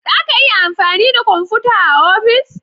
Za ka iya amfani da kwamfuta a ofis?